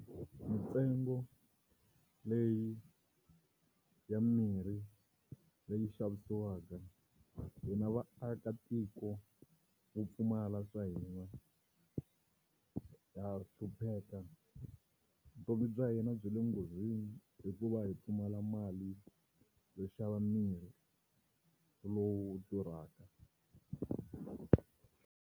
Mintsengo leyi ya mimirhi leyi xavisiwaka hina vaakatiko vo pfumala swa hina ha hlupheka, vutomi bya hina byi le nghozini hikuva hi pfumala mali yo xava mirhi lowu durhaka.